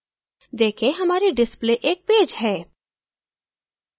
देखें हमारी display एक page है